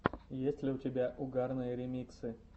есть ли у тебя угарные ремиксы